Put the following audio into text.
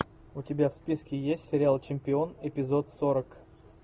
у тебя в списке есть сериал чемпион эпизод сорок